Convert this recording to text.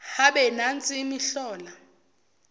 habe nansi imihlola